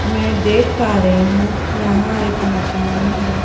मैं देख पा रही हूं यहां एक मकान है।